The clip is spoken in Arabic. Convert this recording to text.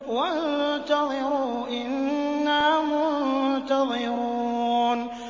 وَانتَظِرُوا إِنَّا مُنتَظِرُونَ